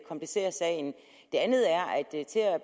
komplicere sagen det andet er at